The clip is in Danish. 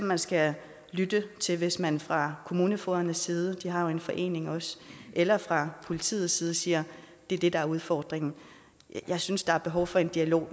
man skal lytte hvis man fra kommunefogedernes side de har jo en forening også eller fra politiets side siger det er det der er udfordringen jeg synes der er behov for en dialog